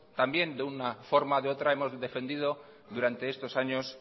también de una forma o de otra hemos defendido durante estos años